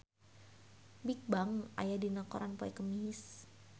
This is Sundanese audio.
Bigbang aya dina koran poe Kemis